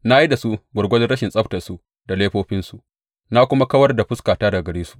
Na yi da su gwargwadon rashin tsabtarsu da laifofinsu, na kuma kawar da fuskata daga gare su.